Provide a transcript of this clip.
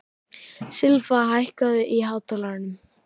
Silfa, hækkaðu í hátalaranum.